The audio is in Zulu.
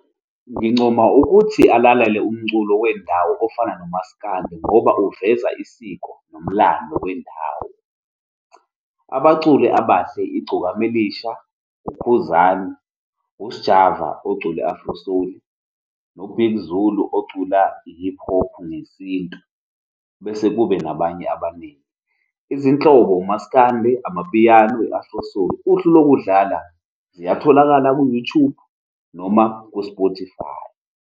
Ngincoma ukuthi alalele umculo wendawo ofana nomaskandi ngoba uveza isiko nomlando wendawo. Abaculi abahle, Igcokama Elisha, uKhuzani, uSjava ocula i-afro soul, noBig Zulu ocula i-hip hop ngesintu, bese kube nabanye abaningi. Izinhlobo umasikandi, amapiyano, i-afro soul. Uhlu lokudlala, ziyatholakala ku-Youtube noma ku-Spotify.